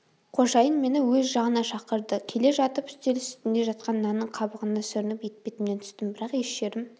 қожайын мені өз жағына шақырды келе жатып үстел үстінде жатқан нанның қабығына сүрініп етпетімнен түстім бірақ еш жерім